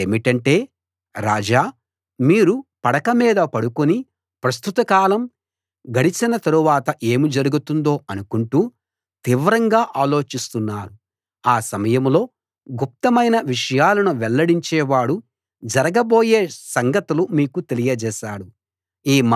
అది ఏమిటంటే రాజా మీరు పడక మీద పడుకుని ప్రస్తుత కాలం గడచిన తరువాత ఏమి జరుగుతుందో అనుకుంటూ తీవ్రంగా ఆలోచిస్తున్నారు ఆ సమయంలో గుప్తమైన విషయాలను వెల్లడించేవాడు జరగబోయే సంగతులు మీకు తెలియజేశాడు